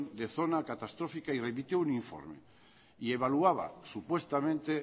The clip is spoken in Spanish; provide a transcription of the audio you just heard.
de zona catastrófica remitió un informe y evaluaba supuestamente